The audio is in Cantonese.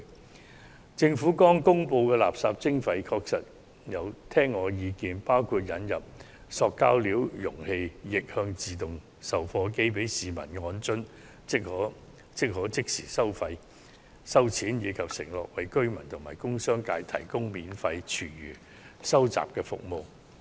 就政府剛公布的垃圾徵費計劃，依我的意見，應同時引入塑料容器逆向自動售貨機供市民使用，那便可即時收費，此外亦應承諾為居民及工商界提供免費廚餘收集服務。